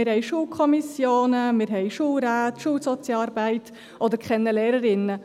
Wir haben Schulkommissionen, wir haben Schulräte, Schulsozialarbeit oder kennen Lehrerinnen.